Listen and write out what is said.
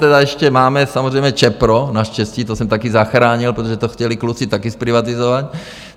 Tedy ještě máme samozřejmě ČEPRO, naštěstí to jsem taky zachránil, protože to chtěli kluci taky zprivatizovat.